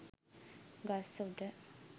ගස් උඩ